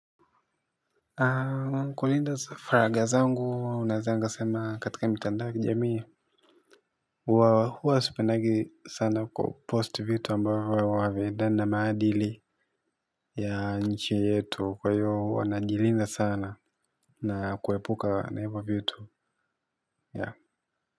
Kulinda faragha zangu naweza nikasema katika mitandao ya kijamii huwa huwa sipendagi sana kupost vitu ambavyo haviendani na maadili ya nchi yetu kwa hiyo huwa najilinda sana na kuepuka na hivyo vitu yeah.